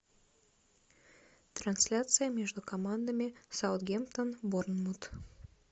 трансляция между командами саутгемптон борнмут